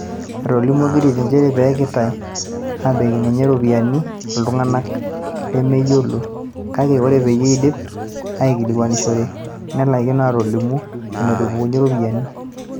Etolimuo Gitiri njeere kepikitay ebenki enye iropiyani iltunganak lemeyiol, kaake oree peyie eidip aikilikuanishore, nelakino atolimu enetupukunye irropiyiani.